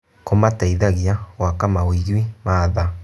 Kũmateithagia gwaka mawĩgwi ma tha.